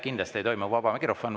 Kindlasti ei toimu vaba mikrofoni.